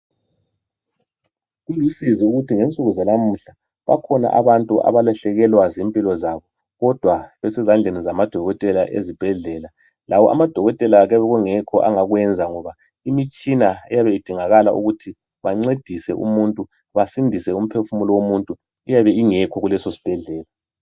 Kulusizi ukuthi ngensuku zanamuhla bakhona abantu abalahlekelwa zimpilo zabo kodwa besezandleni zamadokotela ezibhedlela. Lawo amadokotela kuyabe kungekho angakwenza ngoba imitshina eyabe idingakala ukuthi bancedise umuntu basindise umphefumulo womuntu iyabe ingekho kuleso sibhedlela.